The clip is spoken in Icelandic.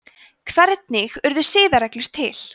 hvernig urðu siðareglur til